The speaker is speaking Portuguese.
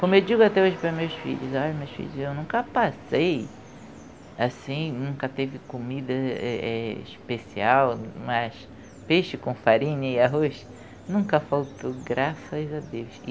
Como eu digo até hoje para meus filhos, olha meus filhos, eu nunca passei assim, nunca teve comida eh eh especial, mas peixe com farinha e arroz nunca faltou, graças a Deus.